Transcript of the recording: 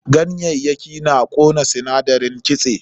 Ganyayyaki na ƙona sinadarin kitse.